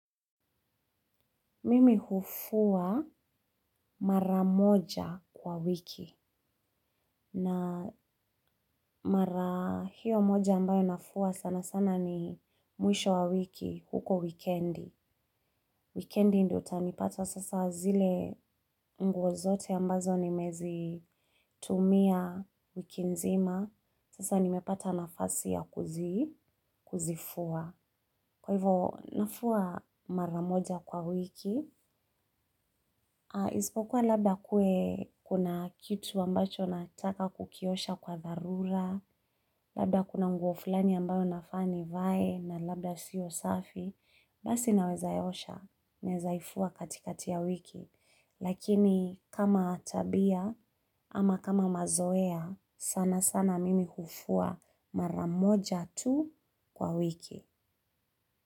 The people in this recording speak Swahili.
Mimi hufua mara moja kwa wiki na mara hiyo moja ambayo nafua sana sana ni mwisho wa wiki huko wikendi. Wikendi ndio utanipata sasa zile nguo zote ambazo nime zitumia wiki nzima. Sasa nimepata nafasi ya kuzifua. Kwa hivo nafua mara moja kwa wiki. Isipokuwa labda kuwe kuna kitu ambacho nataka kukiosha kwa dharura labda kuna nguo flani ambayo nafaa nivae na labda sio safi basi naweza ya osha, naezaifua katikati ya wiki lakini kama tabia ama kama mazoea sana sana mimi hufua mara moja tu kwa wiki.